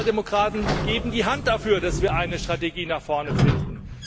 Wir Sozialdemokraten geben die Hand dafür, dass wir eine Strategie nach vorne finden.